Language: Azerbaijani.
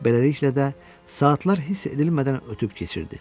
Beləliklə də, saatlar hiss edilmədən ötüb keçirdi.